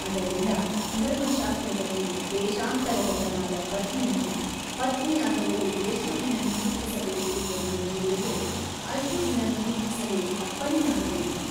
ಅದರಿಂದ ಧರ್ಮಶಾಸ್ತ್ರದಲ್ಲಿ ದೇಶಾಂತರಗತನಾದ ಪತಿಯನ್ನು ಪತ್ನಿಯಾದವಳು ಎಷ್ಟು ದಿನ ನಿರೀಕ್ಷಿಸಬೇಕು ಎಂದು ಹೇಳಿದೆಯೋ ಅಷ್ಟು ದಿನ ನಿರೀಕ್ಷಿಸಲು ಅಪ್ಪಣೆಯಾಗಬೇಕು.